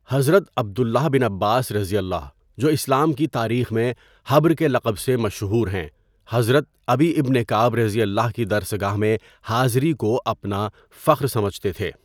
حضرت عبداللہ بن عباسؓ جو اسلام کی تاریخ میں حبر کے لقب سے مشہور ہیں، حضرت ابی ابن کعبؓ کی درسگاہ میں حاضری کو اپنا فخر سمجھتے تھے.